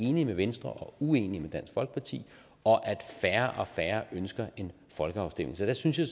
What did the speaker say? enige med venstre og uenige med dansk folkeparti og at færre og færre ønsker en folkeafstemning så der synes jeg